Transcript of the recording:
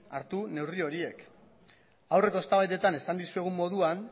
hartu neurri horiek aurreko eztabaidetan esan dizuegun moduan